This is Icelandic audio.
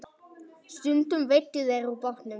Stundum veiddu þeir úr bátnum.